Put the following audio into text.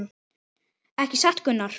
Ekki satt Gunnar?